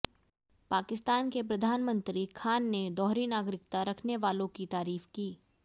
पाकिस्तान के प्रधानमंत्री खान ने दोहरी नागरिकता रखने वालों की तारीफ की